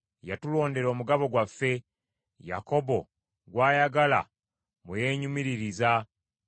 Yatulondera omugabo gwaffe, Yakobo gw’ayagala mwe yeenyumiririza.